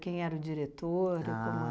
Quem era o diretor? O